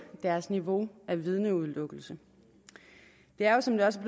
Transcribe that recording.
deres niveau af vidneudelukkelse der er jo som der også